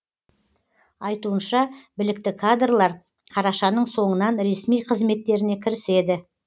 айтуынша білікті кадрлар қарашаның соңынан ресми қызметтеріне кіріседі